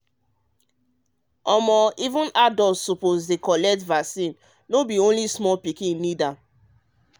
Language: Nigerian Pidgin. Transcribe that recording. um even adult suppose dey collect vaccine no be only small pikin need am.